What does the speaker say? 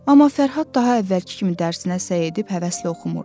Amma Fərhad daha əvvəlki kimi dərsinə səy edib həvəslə oxumurdu.